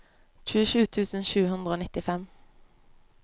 tjuesju tusen sju hundre og nittifem